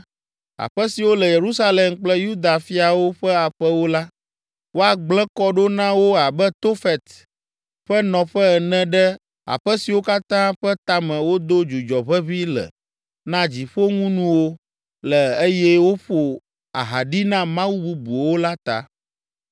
Aƒe siwo le Yerusalem kple Yuda fiawo ƒe aƒewo la, woagblẽ kɔ ɖo na wo abe Tofet ƒe nɔƒe ene ɖe aƒe siwo katã ƒe tame wodo dzudzɔ ʋeʋĩ le na dziƒoŋunuwo le eye woƒo aha ɖi na mawu bubuwo la ta.’ ”